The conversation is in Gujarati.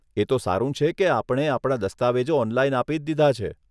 એ તો સારું છે કે આપને આપણા દસ્તાવેજો ઓનલાઈન આપી જ દીધાં છે.